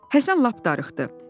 Həsən lap darıxdı.